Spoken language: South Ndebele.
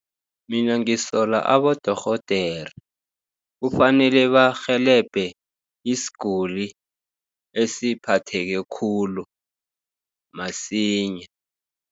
Mina ngisola abodorhodere, kufanele barhelebhe isiguli esiphatheke khulu masinya.